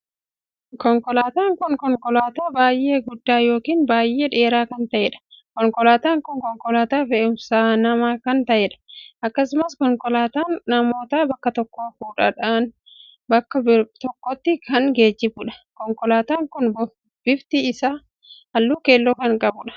Konkolaataan kun konkolaataa baay'ee guddaa ykn baay'ee dheeraa kan ta`eedha. konkolaataan kun konkolaataa fe'umsa namaa kan taheedha. akkasumas konkolaataan namoota bakka tokkoo fuudhudhaan bakka tokkotti kan geejjibuudha. konkolaataan kun bifti isaa halluu keelloo kan qabuudha.